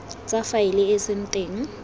tse faele e seng teng